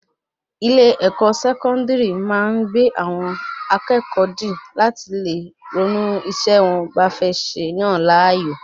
ilé-ẹ̀kọ́ Sẹkọndiri máa gbe ara àwọn akẹẹkọ di lati le ronú isé wọn ba fẹ Yan láàyò